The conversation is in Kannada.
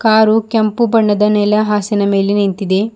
ಕಾರು ಕೆಂಪು ಬಣ್ಣದ ನೆಲ ಹಾಸಿನ ಮೇಲೆ ನಿಂತಿದೆ.